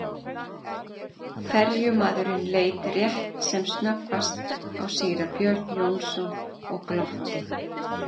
Ferjumaðurinn leit rétt sem snöggvast á síra Björn Jónsson og glotti.